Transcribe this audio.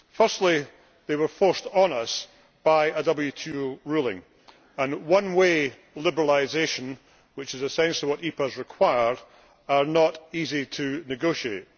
Firstly, they were forced on us by a WTO ruling, and one way liberalisation, which is essentially what EPAs required, is not easy to negotiate.